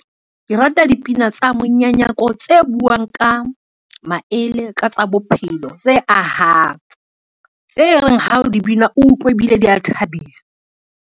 Ke rata dipina tsa monyanyako tse buang ka maele, ka tsa bophelo, tse ahang. Tse reng ha o di bina utlwe ebile di a thabisa.